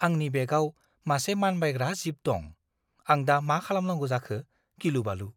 आंनि बेगआव मासे मानबायग्रा जीब दं। आं दा मा खालामनांगौ जाखो, गिलुबालु!